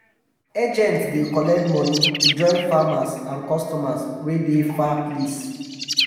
agent dey collect money to join farmers and customers wey dey far place.